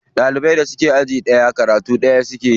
Ɗaliban da suke aji ɗaya karatu ɗaya suke yi.